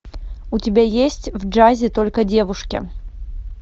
у тебя есть в джазе только девушки